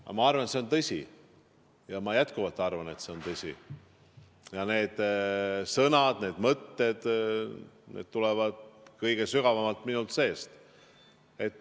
Aga ma arvan, et see on tõsi, ja ma jätkuvalt arvan, et see on tõsi, ja need sõnad, need mõtted tulevad kõige sügavamalt minu seest.